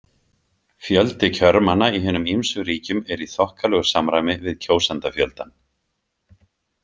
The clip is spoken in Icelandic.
Fjöldi kjörmanna í hinum ýmsu ríkjum er í þokkalegu samræmi við kjósendafjöldann.